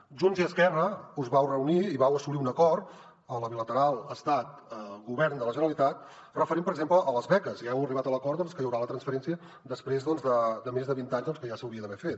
junts i esquerra us vau reunir i vau assolir un acord a la bilateral estat govern de la generalitat referent per exemple a les beques ja heu arribat a l’acord que hi haurà la transferència després de més de vint anys que ja s’hauria d’haver fet